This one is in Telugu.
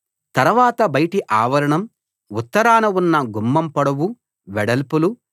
తరవాత బయటి ఆవరణం ఉత్తరాన ఉన్న గుమ్మం పొడవు వెడల్పులు